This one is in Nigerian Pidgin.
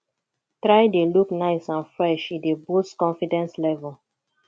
try de look nice and fresh e dey boost confidence level